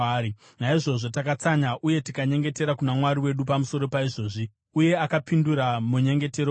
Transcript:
Naizvozvo takatsanya uye tikanyengetera kuna Mwari wedu pamusoro paizvozvi, uye akapindura munyengetero wedu.